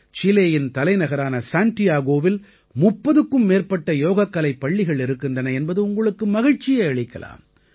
சீலேயின் தலைநகரான சாண்டியாகோவில் 30க்கும் மேற்பட்ட யோகக்கலைப் பள்ளிகள் இருக்கின்றன என்பது உங்களுக்கு மகிழ்ச்சியை அளிக்கலாம்